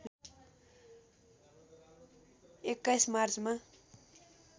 २१ मार्चमा